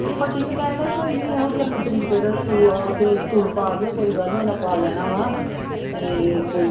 ਭੱਟੀ ਵੀ ਕਹਿਣਡਿਆ ਵੀ ਕੋਈ ਨੀ ਇਹੋ ਜਨਮ ਤਰੀਕ ਇਹਦਾ ਸਕੂ ਉੱਥੇ ਸਕੂਲ ਪਾ ਦਿਓ ਕੋਈ ਗੱਲ ਨੀ ਉਹਨਾਂ ਪਾ ਲੈਣਾ ਵਾਂ ਤੇ ਕੋਈ